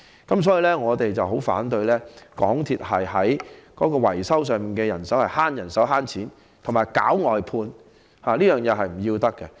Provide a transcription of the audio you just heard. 故此，我們十分反對港鐵減少維修人手，以節省金錢，以及搞外判，這是不可取的。